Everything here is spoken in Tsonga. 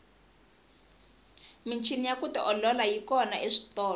michini ya ku tiolola yi kona eswitolo